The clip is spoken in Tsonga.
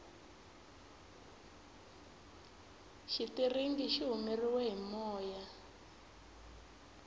xitiringi xi humeriwe hi moya